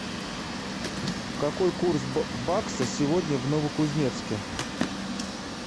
какой курс бакса сегодня в новокузнецке